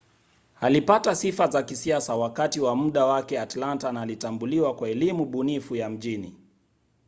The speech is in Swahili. alipata sifa za kisiasa wakati wa muda wake atlanta na alitambuliwa kwa elimu bunifu ya mjini